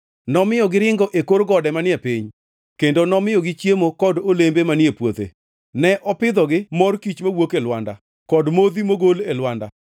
Nomiyo giringo e kor gode manie piny kendo nomiyogi chiemo kod olembe manie puothe. Ne opidhogi mor kich mawuok e lwanda kod modhi mogol e lwanda.